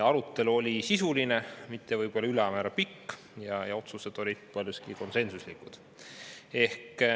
Arutelu oli sisuline, mitte võib-olla ülemäära pikk, ja otsused olid paljuski konsensuslikud.